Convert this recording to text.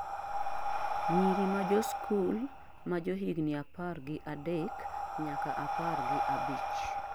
nyiri majosikul majohigni apar gi adek nyaka apar gi abich